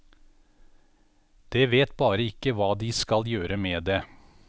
Det vet bare ikke hva de skal gjøre med det.